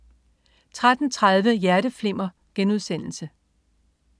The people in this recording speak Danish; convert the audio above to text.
13.30 Hjerteflimmer*